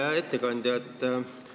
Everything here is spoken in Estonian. Hea ettekandja!